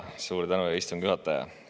Suur tänu, hea istungi juhataja!